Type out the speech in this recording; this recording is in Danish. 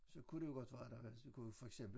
Så kunne det jo godt være der var kunne for eksempel